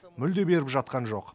мүлде беріп жатқан жоқ